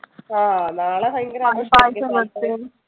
ആഹ് നാളെ ഭയങ്കര ആഘോഷമായിരിക്കും